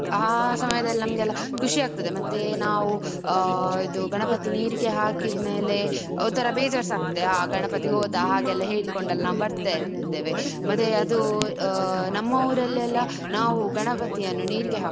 ಆ ಸಮಯದಲ್ಲಿ ನಮಗೆ ಎಲ್ಲ ಖುಷಿ ಆಗ್ತದೆ. ಮತ್ತೆ ನಾವು ಆ ಇದು ಗಣಪತಿ ನೀರಿಗೆ ಹಾಕಿದ್ಮೇಲೆ ಒಂಥರಾ ಬೇಜಾರ್ಸಾ ಆಗ್ತದೆ. ಆ ಗಣಪತಿ ಹೋದ ಹಾಗೆಲ್ಲ ಹೇಳಿಕೊಂಡು ನಾವು ಬರ್ತಾ ಇರ್ತೇವೆ. ಮತ್ತೆ ಅದು ನಮ್ಮ ಊರಲ್ಲೆಲ್ಲ ನಾವು ಗಣಪತಿಯನ್ನು ನೀರಿಗೆ ಹಾಕುದು.